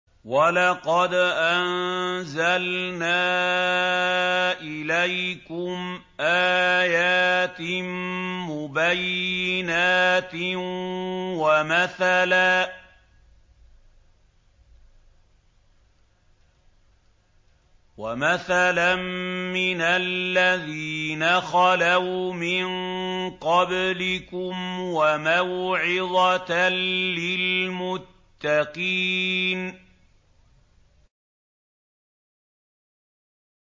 وَلَقَدْ أَنزَلْنَا إِلَيْكُمْ آيَاتٍ مُّبَيِّنَاتٍ وَمَثَلًا مِّنَ الَّذِينَ خَلَوْا مِن قَبْلِكُمْ وَمَوْعِظَةً لِّلْمُتَّقِينَ